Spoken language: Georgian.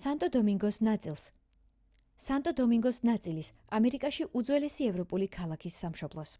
სანტო დომინგოს ნაწილის ამერიკაში უძველესი ევროპული ქალაქის სამშობლოს